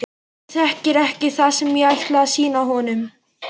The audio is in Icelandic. Hann þekkir ekki það sem ég ætla að sýna honum.